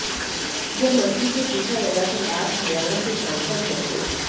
जब मंत्री से पूछा गया कि आप हरियाणा से सांसद हैं तो